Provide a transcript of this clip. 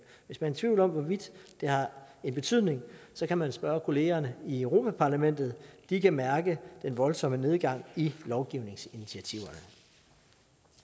hvis man er i tvivl om hvorvidt det har en betydning så kan man spørge kollegerne i europa parlamentet de kan mærke den voldsomme nedgang i af lovgivningsinitiativer